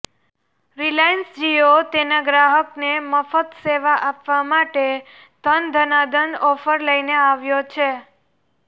Reliance Jio તેના ગ્રાહકને મફત સેવા આપવા માટે ઘન ઘના ઘન ઓફર લઇને આવ્યો છે